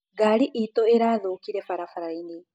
Garĩ itũ ĩrathũkĩire barabarainĩ